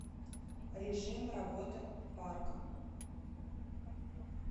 режим работы парка